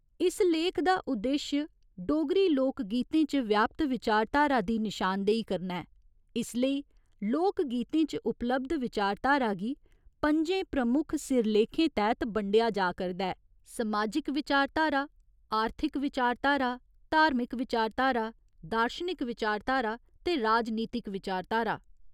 इस लेख दा उद्देश्य डोगरी लोक गीतें च व्यापत विचारधारा दी नशानदेही करना ऐ, इसलेई लोक गीतें च उपलब्ध विचारधारा गी पं'जें प्रमुख सिरलेखें तैह्त बंडेआ जा करदा ऐ समाजिक विचारधारा, आर्थिक विचारधारा, धार्मिक विचारधारा, दार्शनिक विचारधारा ते राजनीतिक विचारधारा।